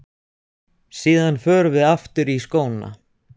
Síðan förum við aftur í skóna.